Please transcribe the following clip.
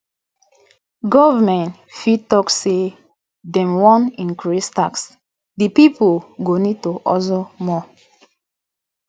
government fit talk say dem wan increase tax di pipo go need to husle more